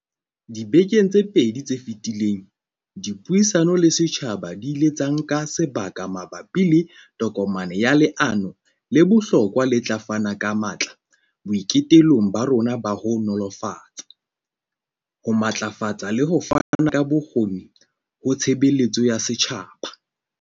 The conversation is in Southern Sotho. Dibekeng tse pedi tse feti leng, dipuisano le setjhaba di ile tsa nka sebaka ma bapi le tokomane ya leano le bohlokwa le tla fana ka matla boitekong ba rona ba ho nolofatsa, ho matlafatsa le ho fana ka bokgoni ho tshebeletso ya setjhaba.